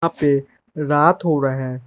पे रात हो रहा है।